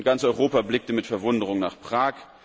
Ganz Europa blickte mit Verwunderung nach Prag.